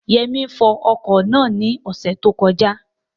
Yẹmí fọ ọkọ̀ náà ní ọ̀sẹ̀ tó kọjá